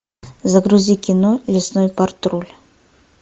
загрузи кино лесной патруль